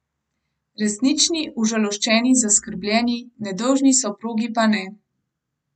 Resnični, užaloščeni, zaskrbljeni, nedolžni soprogi pa ne.